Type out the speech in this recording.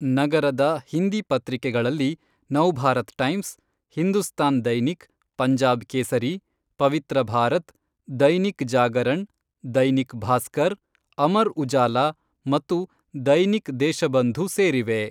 ನಗರದ ಹಿಂದಿ ಪತ್ರಿಕೆಗಳಲ್ಲಿ ನವ್ಭಾರತ್ ಟೈಮ್ಸ್, ಹಿಂದೂಸ್ತಾನ್ ದೈನಿಕ್, ಪಂಜಾಬ್ ಕೇಸರೀ, ಪವಿತ್ರ ಭಾರತ್, ದೈನಿಕ್ ಜಾಗರಣ್, ದೈನಿಕ್ ಭಾಸ್ಕರ್, ಅಮರ್ ಉಜಾಲಾ ಮತ್ತು ದೈನಿಕ್ ದೇಶಬಂಧು ಸೇರಿವೆ.